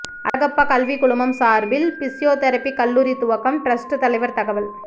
அழகப்பா கல்விக்குழுமம் சார்பில் பிசியோதெரபி கல்லூரி துவக்கம் டிரஸ்ட் தலைவர் தகவல்